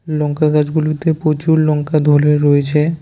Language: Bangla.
লঙ্কা গাছগুলোতে প্রচুর লঙ্কা ধরে রয়েছে।